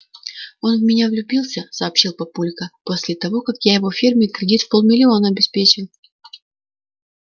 он в меня влюбился сообщил папулька после того как я его фирме кредит в полмиллиона обеспечил